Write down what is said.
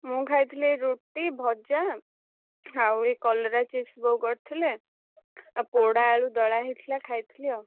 ମୁଁ ଖାଇଥିଲି ଏଇ ରୁଟି, ଭଜା, ଆଉ ଏଇ କଲରା chips ବୋଉ କରିଥିଲେ। ଆଉ ପୋଡା ଆଳୁ ଦଳା ହେଇଥିଲା ଖାଇଥିଲି ଆଉ।